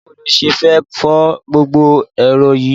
Báwo lo ṣe fẹ́ fo gbogbo erò yìí??